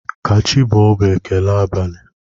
Kachibọọ bụ ekele abalị.